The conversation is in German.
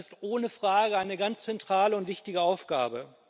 Das ist ohne Frage eine ganz zentrale und wichtige Aufgabe.